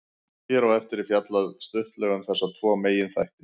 Hér á eftir er fjallað stuttlega um þessa tvo meginþætti.